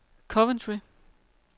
Coventry